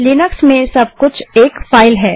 Linux में सब कुछ एक फाइल है